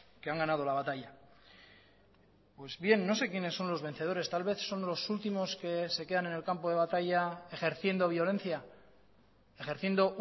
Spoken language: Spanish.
que han ganado la batalla pues bien no sé quiénes son los vencedores tal vez son los últimos que se quedan en el campo de batalla ejerciendo violencia ejerciendo